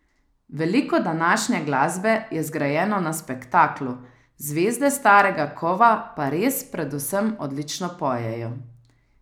Veliko današnje glasbe je zgrajeno na spektaklu, zvezde starega kova pa res predvsem odlično pojejo.